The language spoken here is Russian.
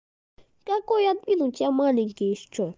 какой админ у тебя маленький ещё